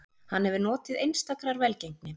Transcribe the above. Hann hefur notið einstakrar velgengni